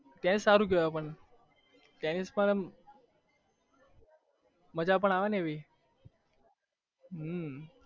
કે સારું કેવાય પણ ટેનિસ પર મજા પણ આવે ને એવી